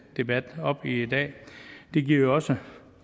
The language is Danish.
debat op i dag det giver jo også